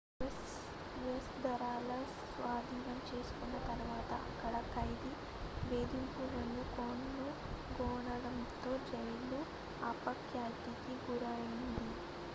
u.s. దళాలు స్వాధీనం చేసుకున్న తరువాత అక్కడ ఖైదీ వేధింపులను కనుగొనడంతో జైలు అపఖ్యాతి కి గురయింది